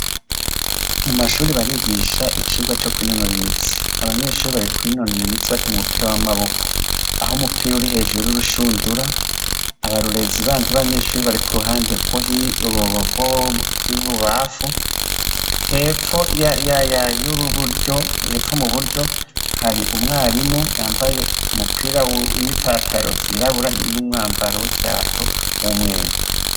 Mu mashuri barigisha icirwa co kw'inonora imitsi abanyeshuri barikw'inonora imitsi bakinya umupira w'amaboko aho umupira uri hejuru y'urushundura abarurezi bandi banyeshuri bariku uruhande rwohi urugorw'o bwibubafu eayayurubuyo hepfo mu buryo hariwu mwarimu yambaye umupira wun'i pataro vyirabura n'umwambaro w'ikirato mw'umweru.